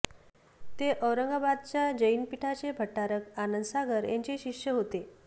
ते औरंगाबादच्या जैन पीठाचे भट्टारक आनंद सागर यांचे शिष्य होते